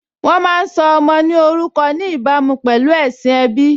Wọ́n má́a ń sọ ọmọ ní orúkọ ní ìbámu pẹ̀lú ẹ̀sìn ẹbí